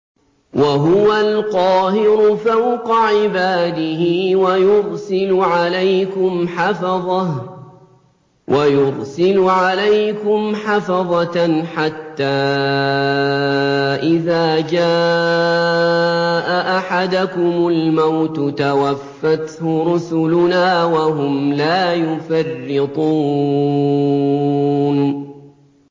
وَهُوَ الْقَاهِرُ فَوْقَ عِبَادِهِ ۖ وَيُرْسِلُ عَلَيْكُمْ حَفَظَةً حَتَّىٰ إِذَا جَاءَ أَحَدَكُمُ الْمَوْتُ تَوَفَّتْهُ رُسُلُنَا وَهُمْ لَا يُفَرِّطُونَ